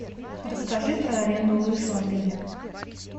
расскажи про аренду лыж в отеле